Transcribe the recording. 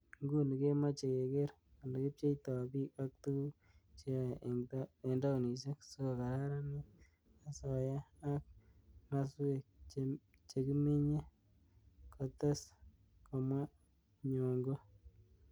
"Nguni komache keker olikipcheitoi biik ak tuguk cheoei eng taunishek sikokararanit asoya ak maswek chekiminyei, kates komwa Nyong'o.